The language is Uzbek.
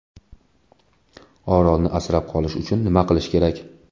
Orolni asrab qolish uchun nima qilish kerak?